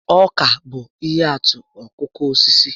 Ọka bụ ihe atụ okooko osisi